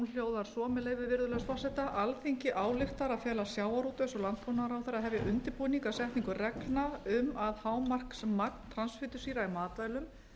hljóðar svo með leyfi virðulegs forseta alþingi ályktar að fela sjávarútvegs og landbúnaðarráðherra að hefja undirbúning að setningu reglna um að hámarksmagn transfitusýra í matvælum